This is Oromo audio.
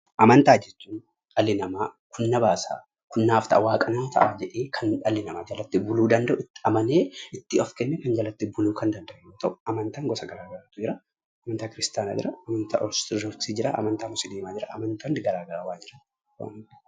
Amantaa jechuun dhalli namaa kun na baasa, kun naaf ta'a waaqa isaaf jedhee kan dhalli namaa jalatti buluu danda'u, itti amanee itti of kennee kan jalatti buluu kan danda'u yoo ta'u, amantaan gosa garaa garaatu jira: amantaa Kiristaanaa jira, amantaa Ortoodoksii jira, amantaa Musliimaa jira, amantaa garaa garaa ni jira.